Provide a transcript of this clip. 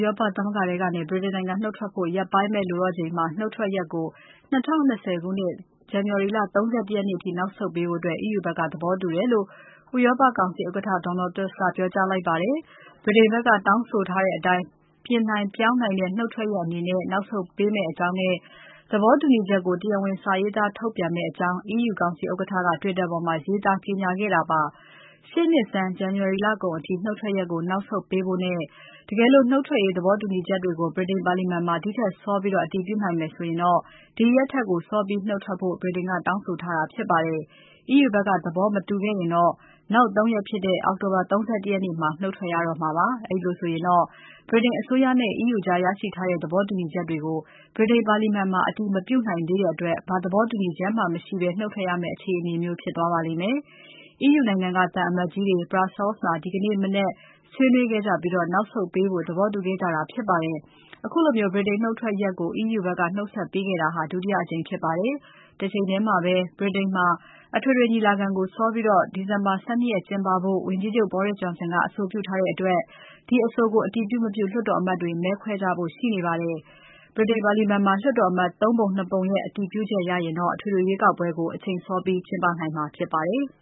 ရောပသမဂ္ဂထဲကနေ ဗြိတိန်နိုင်ငံ နုတ်ထွက်ဖို့ ရက်ပိုင်းပဲလိုတော့ချိန်မှာ နှုတ်ထွက်ရက်ကို ရှေ့နှစ် ဇန်နဝါရီ ၃၁ ရက်နေ့အထိ နောက်ဆုတ်ပေးဖု့ိ EU ဘက်ကသဘောတူတယ်လို့ ဥရောပကောင်စီဥက္ကဋ္ဌ Donald Tusk ကပြောကြားလိုက်ပါတယ်။ ဗြိတိန်ဘက်က တောင်းဆိုထားတဲ့အတိုင်း ပြင်နိုင်ပြောင်းနိုင်တဲ့ နုတ်ထွက်ရက်အနေနဲ့ နောက်ဆုတ်ပေးမယ့်အကြောင်းနဲ့ သဘောတူကြောင်း တရားဝင် စာရေးသား ထုတ်ပြန်မယ့်အကြောင်း EU ကောင်စီဥက္ကဋ္ဌက Twitter ပေါ်မှာ ရေးသား ကြေညာခဲ့ပါတယ်။ ရှေ့နှစ် ဇန်နဝါရီ လကုန်အထိ နုတ်ထွက်ရက်ကို နောက်ဆုတ်ပေးဖို့ တကယ်လို့ နုတ်ထွက်ရေး သဘောတူညီချက်တွေကို ဗြိတိန်ပါလီမာန်မှာ ဒီထက်စောပြီး အတည်ပြုနိုင်မယ်ဆိုရင် စောပြီးနုတ်ထွက်ဖို့ ဗြိတိန်က တောင်းဆိုထားတာ ဖြစ်ပါတယ်။ EU ဘက်က သဘောမတူခဲ့ရင်တော့ နောက် ၃ ရက်ဖြစ်တဲ့ အောက်တိုဘာ ၃၁ ရက်မှာ နုတ်ထွက်ရတော့မှာပါ။ အဲလိုဆိုရင်တော့ ဗြိတိန်အစိုးရနဲ့ EU ကြားရရှိထားတဲ့ သဘောတူညီချက်တွေကို ဗြိတိန်ပါလီမာန်မှာ အတည်မပြုနိုင်သေးတဲ့အတွက် ဘာသဘောတူချက်မှ မရှိဘဲ နုတ်ထွက်ရတဲ့ အခြေအနေမျိုး ဖြစ်သွားပါလိမ့်မယ်။ EU နိုင်ငံက သံအမတ်ကြီးတွေ Brussels မှာ ဒီကနေ့ ဆွေးနွေးခဲ့ကြပြီး နောက်ဆုတ်ပေးဖို့ သဘောတူခဲ့ကြတာဖြစ်ပါတယ်။ အခုလို ဗြိတိန်နုတ်ထွက်ရက်ကို EU ဘက်က နောက်ဆုတ်ပေးခဲ့တာဟာ ဒုတိယအကြိမ်ဖြစ်ပါတယ်။ တချိန်ထဲမှာပဲ ဗြိတိန်မှာ အထွေထွေရွေးကောက်ပွဲကို စောပြီး ဒီဇင်ဘာ ၁၂ ရက်ကျင်းပဖို့ ဝန်ကြီးချုပ် Boris Johnson က အဆိုပြုထားတဲ့အတွက် ဒီအဆိုကို အတည်ပြု မပြု လွှတ်တော်အမတ်တွေ မဲခွဲကြဖို့ရှိနေပါတယ်။ ဗြိတိန်ပါလီမာန်မှာ လွှတ်တော်အမတ် ၃ ပုံ ၂ ပုံရဲ့ အတည်ပြုချက်ရရင်တော့ အထွေထွေရွေးကောက်ပွဲကို အချိန်စောပြီးကျင်းပနိုင်မှာဖြစ်ပါတယ်။